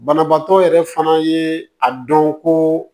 Banabaatɔ yɛrɛ fana ye a dɔn ko